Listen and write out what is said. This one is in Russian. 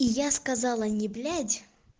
и я сказала не блядь